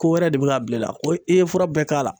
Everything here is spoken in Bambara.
Ko wɛrɛ de bɛ ka bila i la ,ko i ye fura bɛɛ k'a la,